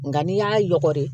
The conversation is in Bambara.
Nka n'i y'a yɔgɔgɔri